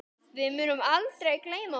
Við munum aldrei gleyma honum.